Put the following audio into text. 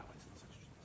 Davam edin.